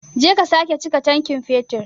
Je ka sake chika tankin fetur.